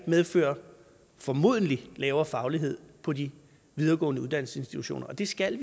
medfører formodentlig lavere faglighed på de videregående uddannelsesinstitutioner og det skal